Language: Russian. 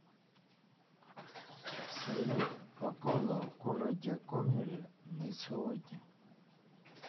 салют погода в городе гомеле на сегодня